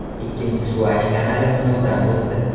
Ikkinchi Suvaysh kanali sinovdan o‘tdi.